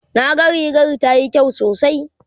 na ga rigar tayi kyau sosai